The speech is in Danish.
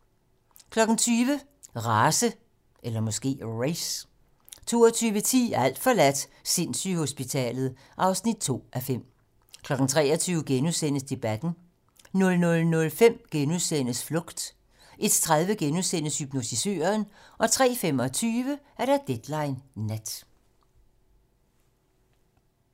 20:00: Race 22:10: Alt forladt - sindssygehospitalet (2:5) 23:00: Debatten * 00:05: Flugt * 01:30: Hypnotisøren * 03:25: Deadline nat